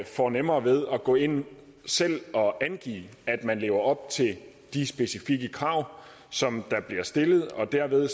får nemmere ved at gå ind selv og angive at man lever op til de specifikke krav som der bliver stillet og derved